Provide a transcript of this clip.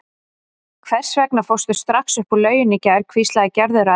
Hvers vegna fórstu strax upp úr lauginni í gær? hvíslaði Gerður að Erni.